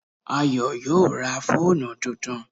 Ayọ̀ yóò ra fóònù tuntun